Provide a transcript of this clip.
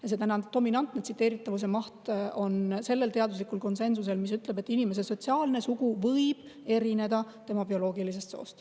Ja täna on tsiteeritavuse sellel teaduslikul konsensusel, mis ütleb, et inimese sotsiaalne sugu võib erineda tema bioloogilisest soost.